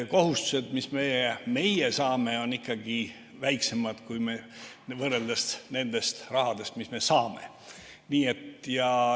Kohustused, mis meie saame, on ikkagi väiksemad kui see raha, mis me saame.